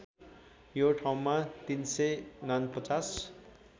यो ठाउँमा ३४९